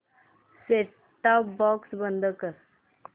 set top box बंद कर